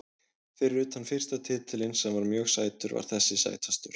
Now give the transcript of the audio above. Fyrir utan fyrsta titilinn sem var mjög sætur var þessi sætastur.